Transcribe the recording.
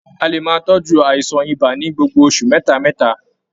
A lè máa tọjú àìsàn ibà ní gbogbo oṣù mẹta mẹta.